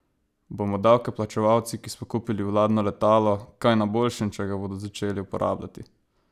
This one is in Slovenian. Bomo davkoplačevalci, ki smo kupili vladno letalo, kaj na boljšem, če ga bodo začeli uporabljati?